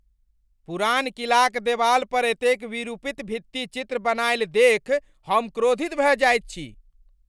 पुरान किलाक देबालपर एतेक विरूपित भित्तिचित्र बनाएल देख हम क्रोधित भय जाइत छी ।